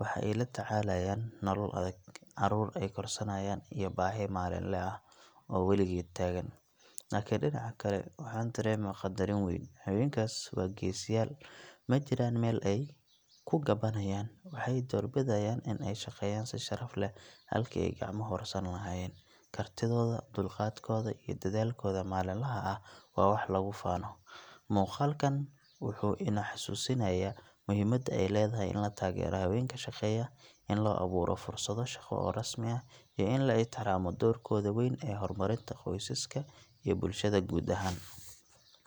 Waxa ay la tacaalayaan nolol adag, carruur ay korsanayaan, iyo baahi maalinle ah oo weligeed taagan. Laakiin dhinaca kale, waxaan dareemaa qadarin weyn. Haweenkaas waa geesiyaal – ma jiraan meel ay ku ganbanayaan, waxay doorbidayaan in ay shaqeeyaan si sharaf leh halkii ay gacmo hoorsan lahaayeen. Kartidooda, dulqaadkooda, iyo dadaalkooda maalinlaha ah waa wax lagu faano. Muuqaalkan wuxuu inoo xasuusinayaa muhiimadda ay leedahay in la taageero haweenka shaqeeya, in loo abuuro fursado shaqo oo rasmi ah, iyo in la ixtiraamo doorkooda weyn ee horumarinta qoysaska iyo bulshada guud ahaan.